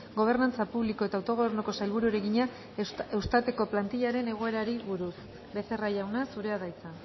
gobernantza publiko eta autogobernuko sailburuari egina eustat eko plantillaren egoerari buruz becerra jauna zurea da hitza